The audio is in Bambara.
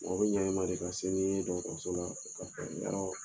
Mɔgɔ bɛ ɲa i ma de ka se ni ye dɔgɔtɔrɔso la